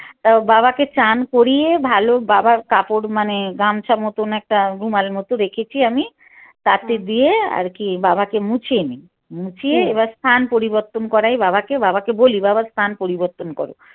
তা বাাবকে চান করিয়ে ভাল বাবার কাপড় মানে গামছা মতন একটা রুমাল মত রেখেছি আমি তাতে দিয়ে আরকি বাবাকে মুছিয়ে নিই মুছিয়ে এবার স্থান পরিবর্তন করাই বাবাকে বাবাকে বলি বাবা স্থান পরিবর্তন কর।